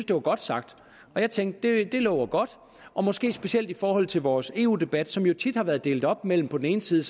det var godt sagt og jeg tænkte det lover godt og måske specielt i forhold til vores eu debat som jo tit har været delt op mellem på den ene side